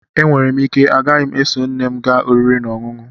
E nwere m ike ghara iso nne m gaa oriri na ọṅụṅụ